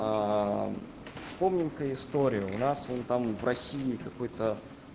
вспомним ка историю у нас вон там в россии какой-то